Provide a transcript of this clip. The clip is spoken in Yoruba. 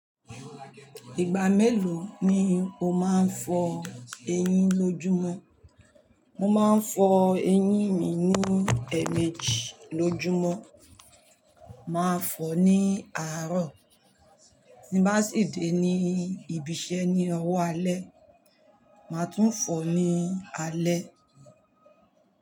Ìgbà mélòó ni o máa ń fọ eyín lójúmọ́? Mo máa ń fọ eyín mi ní ẹ̀ẹ̀méjì ní ójúmọ́, màá fọ ní àárọ̀, tí ń bá sì dé ní ibi iṣẹ́ ní owó alẹ́, màá tún fọ ní alẹ́.